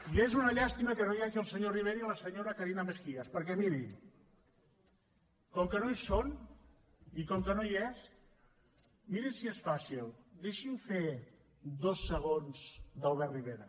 i és una llàstima que no hi hagi el senyor rivera ni la senyora carina mejías perquè mirin com que no hi són i com que no hi és mirin si és fàcil deixi’m fer dos segons d’albert rivera